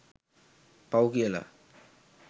පව් කියලා